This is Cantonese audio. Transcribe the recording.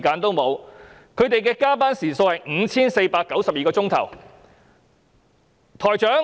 他們的加班時數是 5,492 小時。